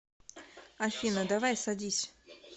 афина давай садись